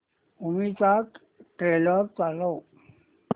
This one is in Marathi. मूवी चा ट्रेलर चालव